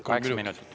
Kaheksa minutit.